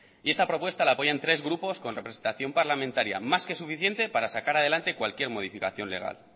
y esta propuesta la apoyan tres grupos con representación parlamentaria más que suficiente para sacar adelante cualquier modificación legal